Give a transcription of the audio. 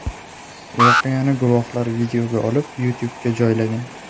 Voqeani guvohlar videoga olib YouTube’ga joylagan .